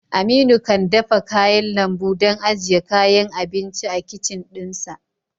Aminu kan dafa kayan lambu don ajiye kayan abinci a kicin ɗinsa